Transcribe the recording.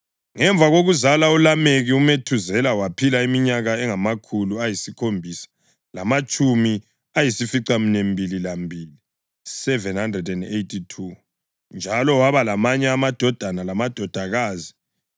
Ngemva kokuzala uLameki, uMethuzela waphila iminyaka engamakhulu ayisikhombisa lamatshumi ayisificaminwembili lambili (782) njalo waba lamanye amadodana lamadodakazi.